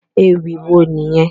Ewì wo nìyẹn?